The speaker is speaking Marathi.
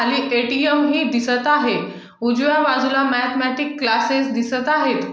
खाली ए_टी_एम हे दिसत आहे उजव्या बाजूला मॅथेमेटिक क्लासेस दिसत आहेत.